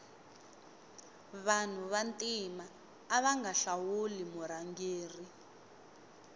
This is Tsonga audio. vanu va ntima avanga hlawuli murhangeri